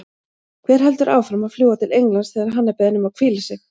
Hver heldur áfram að fljúga til Englands þegar hann er beðinn um að hvíla sig?